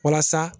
Walasa